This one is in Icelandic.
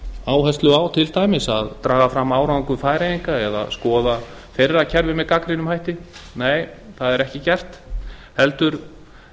áherslu á að draga fram árangur færeyinga eða skoða kerfi þeirra með gagnrýnum hætti nei það er ekki gert heldur